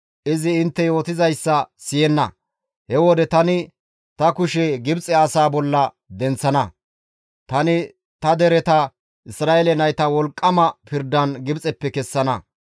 izi intte yootizayssa siyenna. He wode tani ta kushe Gibxe asaa bolla denththana; tani ta dereta Isra7eele nayta wolqqama pirdan Gibxeppe kessana.